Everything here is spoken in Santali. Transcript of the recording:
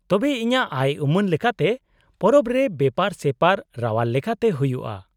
-ᱛᱚᱵᱮ ᱤᱧᱟᱹᱜ ᱟᱭᱼᱩᱢᱟᱹᱱ ᱞᱮᱠᱟᱛᱮ ᱯᱚᱨᱚᱵᱽ ᱨᱮ ᱵᱮᱯᱟᱨ ᱥᱮᱯᱟᱨ ᱨᱟᱣᱟᱞ ᱞᱮᱠᱟᱛᱮ ᱦᱩᱭᱩᱜᱼᱟ ᱾